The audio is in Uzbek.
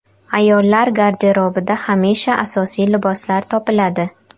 Ayollar garderobidan hamisha asosiy liboslar topiladi.